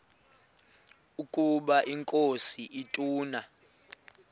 ukaba inkosi ituna